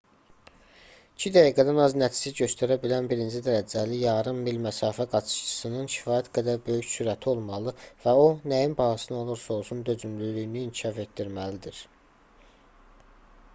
i̇ki dəqiqədən az nəticə göstərə bilən birinci dərəcəli yarım mil məsafə qaçışçısının kifayət qədər böyük sürəti olmalı və o nəyin bahasına olursa-olsun dözümlülüyünü inkişaf etdirməlidir